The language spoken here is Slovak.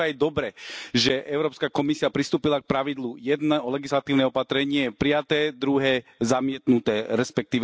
A preto je aj dobré, že Európska komisia pristúpila k pravidlu jedno legislatívne opatrenie prijaté, druhé zamietnuté, resp.